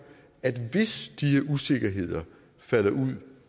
at hvis de usikkerheder falder ud